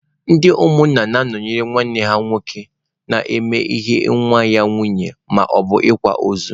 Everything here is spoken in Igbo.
Ndị umunna na-anọnyere nwanne ha na-eme ihe nwa ya nwaanyị maọbụ na-akwa ozu.